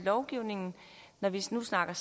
lovgivningen når vi nu snakker